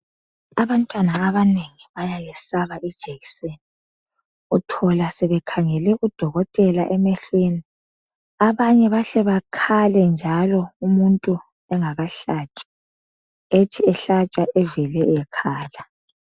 Abantwana abanengi bayalesaba ijekiseni. Uthola sebekhangele udokotela emehlweni. Abanye bahle bakhale njalo umuntu engakahlatshwa ethi ehlatshwa evele ekhala.